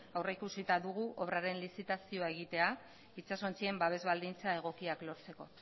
aurrikusita dugu obraren lizitazioa egitea itsasontzien babes baldintza egokiak lortzeko